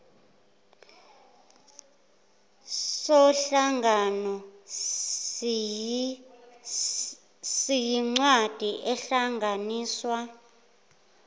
somhlangano siyincwadi ehlanganisa